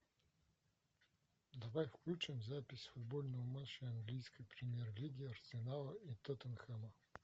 давай включим запись футбольного матча английской премьер лиги арсенала и тоттенхэма